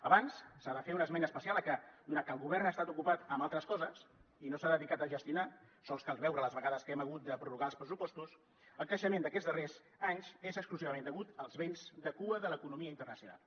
abans s’ha de fer un esment especial a que donat que el govern ha estat ocupat en altres coses i no s’ha dedicat a gestionar sols cal veure les vegades que hem hagut de prorrogar els pressupostos el creixement d’aquests darrers anys és exclusivament degut als vents de cua de l’economia internacional